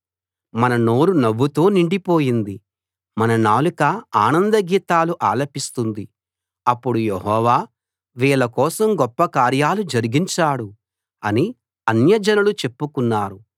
మన నోరు నవ్వుతో నిండిపోయింది మన నాలుక ఆనంద గీతాలు ఆలపిస్తుంది అప్పుడు యెహోవా వీళ్ళ కోసం గొప్పకార్యాలు జరిగించాడు అని అన్యజనులు చెప్పుకున్నారు